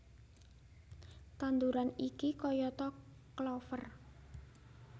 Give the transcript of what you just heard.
Tanduran iki kayata klover